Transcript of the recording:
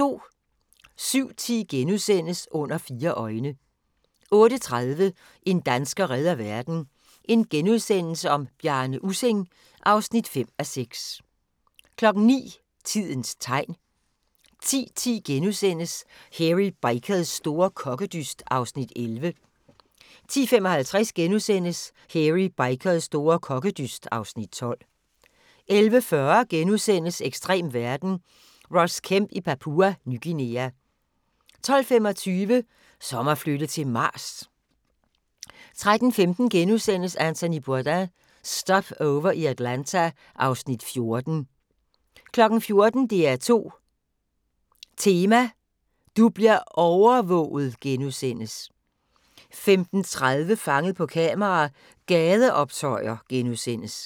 07:10: Under fire øjne * 08:30: En dansker redder verden - Bjarne Ussing (5:6)* 09:00: Tidens tegn 10:10: Hairy Bikers store kokkedyst (Afs. 11)* 10:55: Hairy Bikers store kokkedyst (Afs. 12)* 11:40: Ekstrem verden – Ross Kemp i Papua Ny Guinea * 12:25: Som at flytte til Mars! 13:15: Anthony Bourdain – Stopover i Atlanta (Afs. 14)* 14:00: DR2 Tema: Du bliver overvåget! * 15:30: Fanget på kamera: Gadeoptøjer *